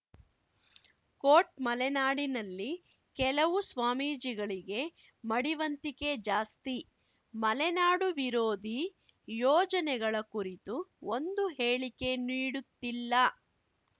coat ಮಲೆನಾಡಿನಲ್ಲಿ ಕೆಲವು ಸ್ವಾಮೀಜಿಗಳಿಗೆ ಮಡಿವಂತಿಕೆ ಜಾಸ್ತಿ ಮಲೆನಾಡು ವಿರೋಧಿ ಯೋಜನೆಗಳ ಕುರಿತು ಒಂದು ಹೇಳಿಕೆ ನೀಡುತ್ತಿಲ್ಲ